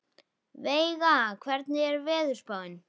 Veiga, hvernig er veðurspáin?